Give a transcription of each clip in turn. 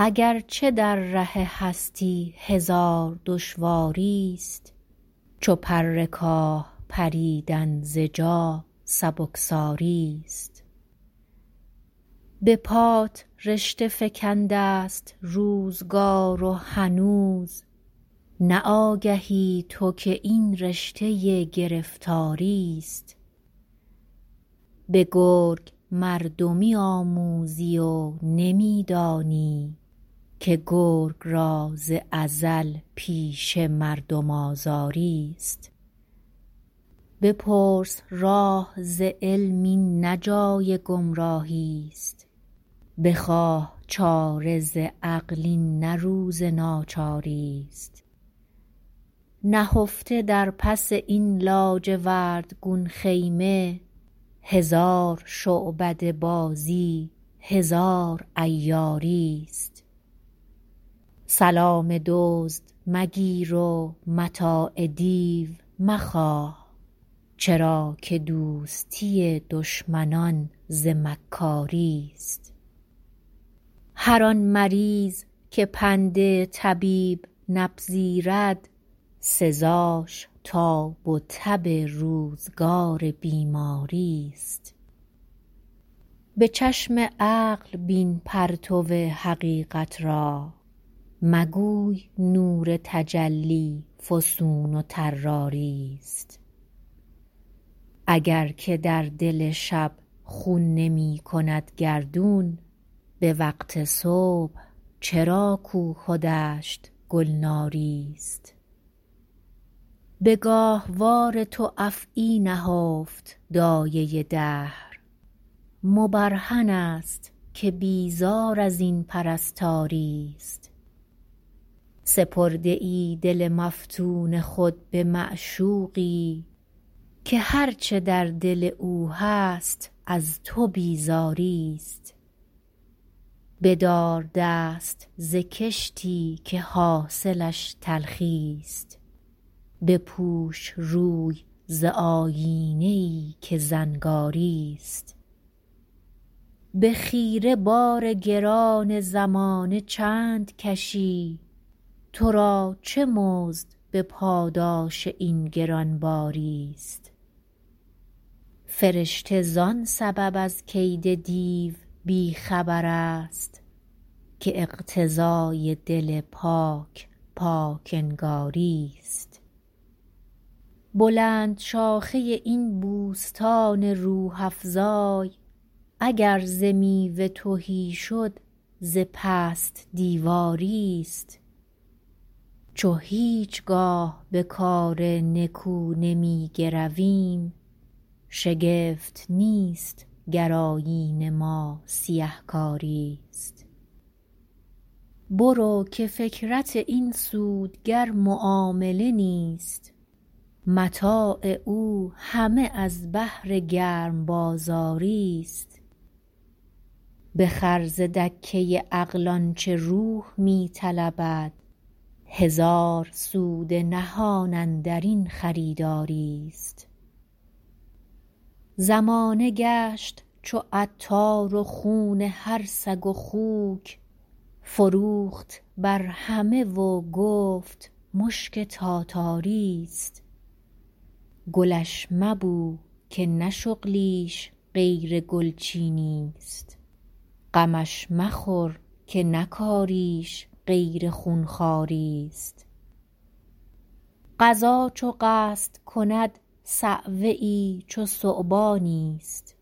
اگرچه در ره هستی هزار دشواریست چو پر کاه پریدن ز جا سبکساریست به پات رشته فکندست روزگار و هنوز نه آگهی تو که این رشته گرفتاریست بگرگ مردمی آموزی و نمیدانی که گرگ را ز ازل پیشه مردم آزاریست بپرس راه ز علم این نه جای گمراهیست بخواه چاره ز عقل این نه روز ناچاریست نهفته در پس این لاجورد گون خیمه هزار شعبده بازی هزار عیاریست سلام دزد مگیر و متاع دیو مخواه چرا که دوستی دشمنان ز مکاریست هر آن مریض که پند طبیب نپذیرد سزاش تاب و تب روزگار بیماریست بچشم عقل ببین پرتو حقیقت را مگوی نور تجلی فسون و طراریست اگر که در دل شب خون نمیکند گردون بوقت صبح چرا کوه و دشت گلناریست بگاهوار تو افعی نهفت دایه دهر مبرهن است که بیزار ازین پرستاریست سپرده ای دل مفتون خود بمعشوقی که هر چه در دل او هست از تو بیزاریست بدار دست ز کشتی که حاصلش تلخیست بپوش روی ز آیینه ای که زنگاریست بخیره بار گران زمانه چند کشی ترا چه مزد بپاداش این گرانباریست فرشته زان سبب از کید دیو بیخبر است که اقتضای دل پاک پاک انگاریست بلند شاخه این بوستان روح افزای اگر ز میوه تهی شد ز پست دیواریست چو هیچگاه به کار نکو نمیگرویم شگفت نیست گر آیین ما سیه کاریست برو که فکرت این سودگر معامله نیست متاع او همه از بهر گرم بازاریست بخر ز دکه عقل آنچه روح می طلبد هزار سود نهان اندرین خریداریست زمانه گشت چو عطار و خون هر سگ و خوک فروخت بر همه و گفت مشک تاتاریست گلش مبو که نه شغلیش غیر گلچینیست غمش مخور که نه کاریش غیر خونخواریست قضا چو قصد کند صعوه ای چو ثعبانی است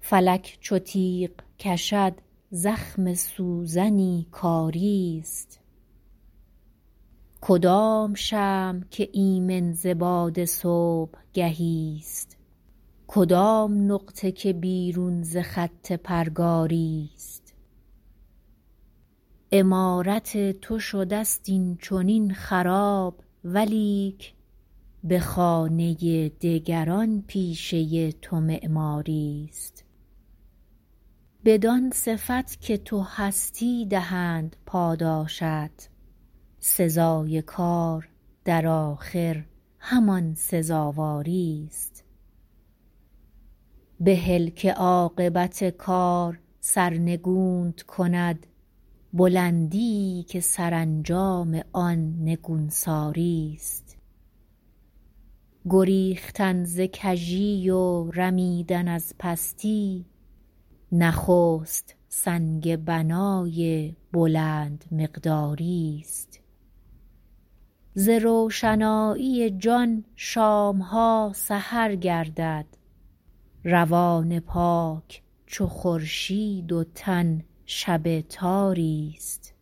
فلک چو تیغ کشد زخم سوزنی کاریست کدام شمع که ایمن ز باد صبحگهی است کدام نقطه که بیرون ز خط پرگاریست عمارت تو شد است این چنین خراب ولیک بخانه دگران پیشه تو معماریست بدان صفت که تو هستی دهند پاداشت سزای کار در آخر همان سزاواریست بهل که عاقبت کار سرنگون کندت بلندیی که سرانجام آن نگونساریست گریختن ز کژی و رمیدن از پستی نخست سنگ بنای بلند مقداریست ز روشنایی جان شامها سحر گردد روان پاک چو خورشید و تن شب تاریست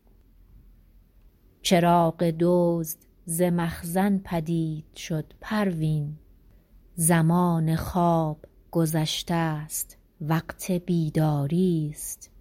چراغ دزد ز مخزن پدید شد پروین زمان خواب گذشتست وقت بیداریست